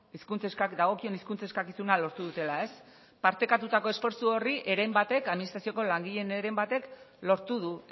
dagokion hizkuntza eskakizuna lortu dutela ez partekatutako esfortzu horri administrazioko langileen heren batek lortu du